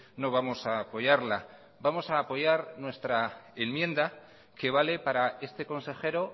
no vamos a apoyarla vamos a apoyar nuestra enmienda que vale para este consejero